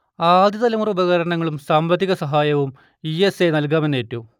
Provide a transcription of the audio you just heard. ആദ്യതലമുറ ഉപകരണങ്ങളും സാമ്പത്തികസഹായവും E S A നൽകാമെന്നേറ്റു